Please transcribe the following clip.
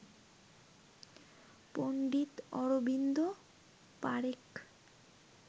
Pandit Arvind Parekh